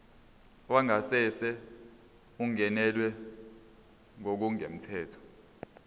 wangasese ungenelwe ngokungemthetho